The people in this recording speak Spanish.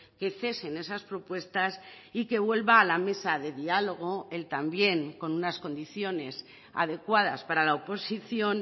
que cesen esas propuestas y que vuelva a la mesa de diálogo él también con unas condiciones adecuadas para la oposición